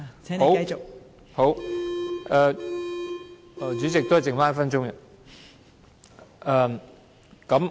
好，代理主席，只剩下1分鐘。